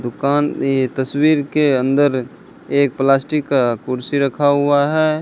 दुकान में तस्वीर के अंदर एक प्लास्टिक का कुर्सी रखा हुआ है।